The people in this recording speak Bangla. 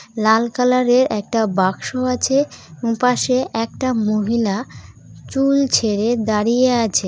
লাল কালারের একটা বাক্স আছে এবং পাশে একটা মহিলা চুল ছেড়ে দাঁড়িয়ে আছে।